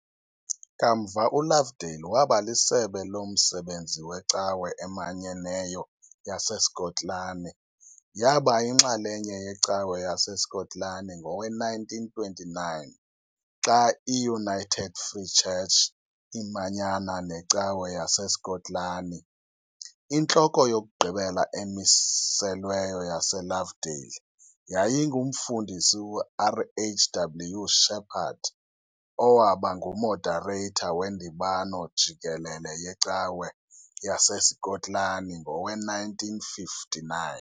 Kamva uLovedale waba lisebe lomsebenzi weCawa eManyeneyo yaseSkotlani, yaba yinxalenye yeCawa yaseSkotlani ngowe-1929 xa iUnited Free Church imanyana neCawa yaseSkotlani. INtloko yokugqibela emiselweyo yaseLovedale yayinguMfundisi uRHW Shepherd, owaba nguModareyitha weNdibano Jikelele yeCawa yaseSkotlani ngowe1959.